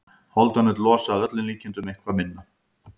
Holdanaut losa að öllum líkindum eitthvað minna.